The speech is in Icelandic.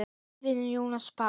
Þinn vinur, Jónas Páll.